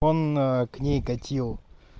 он к ней катил